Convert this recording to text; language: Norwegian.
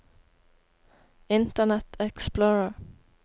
internet explorer